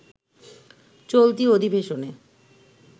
চলতি অধিবেশনে